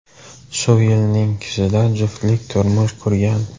Shu yilning kuzida juftlik turmush qurgan.